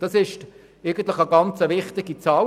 Das ist eigentlich eine sehr wichtige Zahl.